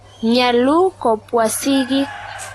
Nyalu kopwa sigiik.